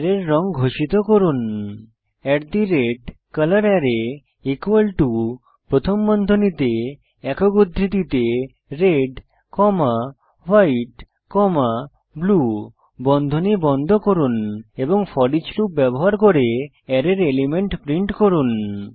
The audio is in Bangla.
অ্যারের রঙ ঘোষিত করুন colorArray প্রথম বন্ধনীতে একক উদ্ধৃতিতে red comma white comma blue বন্ধনী বন্ধ করুন এবং ফোরিচ লুপ ব্যবহার করে অ্যারের এলিমেন্ট প্রিন্ট করুন